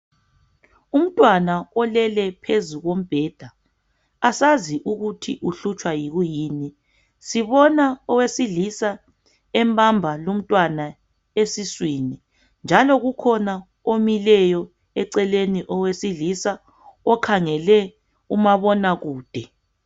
Umntwana olele phezu kombheda asazi ukuthi uhlutshwa yikuyini. Sibona owesilisa embamba lumntwana esiswini. Njalo kukhona omileyo eceleni owesilisa okhangele umabonakude.